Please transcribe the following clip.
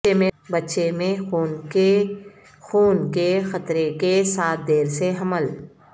بچے میں خون کے خون کے خطرے کے ساتھ دیر سے حمل